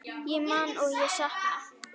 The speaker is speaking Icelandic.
Ég man og ég sakna.